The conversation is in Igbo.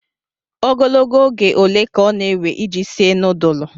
Ogologo oge ole ka ọ na-ewe iji sie nudulu?